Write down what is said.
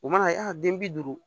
U mana yan den bi duuru